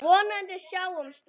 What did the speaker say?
Vonandi sjáumst við.